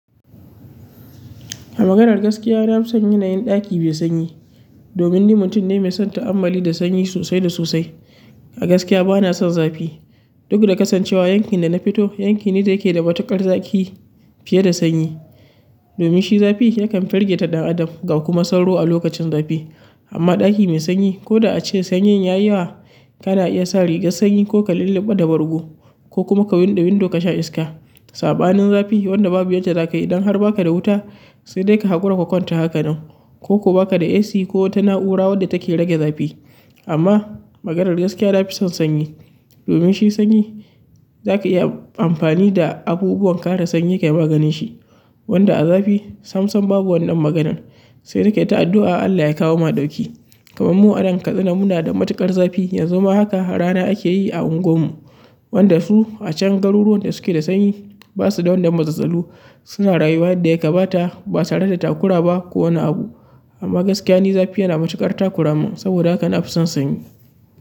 A maganar gaskiya na fi son yanayin ɗaki mai sanyi. Domin ni mutum ne mai son ta'ammali da sanyi sosai da sosai. A gaskiya bana son zafi. Duk da kasancewa yankin da na fito, yanki ne da yake da matuƙar zafi fiye da sanyi. Domin shi zafi yakan firgita ɗan adam, ga kuma sauro a lokacin zafi. Amma ɗaki mai sanyi ko da ace sanyin ya yi wa, ka na iya sa rigar sanyi ko ka lulluɓe da bargo ko kuma ka buɗe window ka sha iska. Saɓanin zafi wanda babu yadda zaka yi don har baka da wuta, sai dai ka haƙura ka kwanta haka nan ko ko baka da AC ko wata na'ura wadda take rage zafi. Amma maganar gaskiya na fi son sanyi. Domin shi sanyi zaka iya amfani da abubuwan kare sanyi kayi maganinshi. Wanda a zafi sam-sam babu wannan maganan. Sai dai ka yi ta addu'a Allah ya kawo ma ɗauki. Kaman mu a nan Katsina muna da matuƙar zafi, yanzu ma haka rana ake yi a unguwarmu. Wanda su a can garuruwan da suke da sanyi ba su da wannan matsatsalu. Suna rayuwa yadda ya kamata ba tare da takura ba ko wani abu. Amma gaskiya ni zafi yana matuƙar takuramin saboda haka na fi son sanyi.